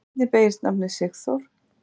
Hvernig beygist nafnið Sigþór?